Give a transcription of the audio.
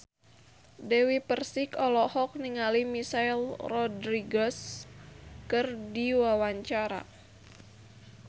Dewi Persik olohok ningali Michelle Rodriguez keur diwawancara